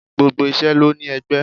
Gbogbo isẹ ló ní ẹgbẹ́.